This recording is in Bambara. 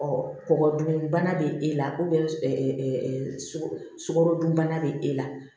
kɔgɔ dun bana bɛ e la sukaro dunbana bɛ e la